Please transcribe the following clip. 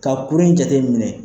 Ka kuru in jateminɛ